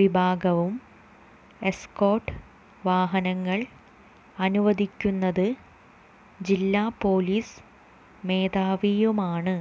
വിഭാഗവും എസ്കോർട്ട് വാഹനങ്ങൾ അനുവദിക്കുന്നത് ജില്ല പൊലീസ് മേധാവിയുമാണ്